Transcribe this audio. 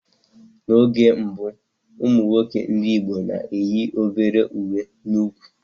N'oge gboo, ụmụ nwoke ndị Igbo na-eyi obere uwe n'úkwù